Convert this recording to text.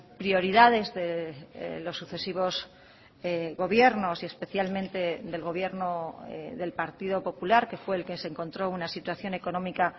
prioridades de los sucesivos gobiernos y especialmente del gobierno del partido popular que fue el que se encontró una situación económica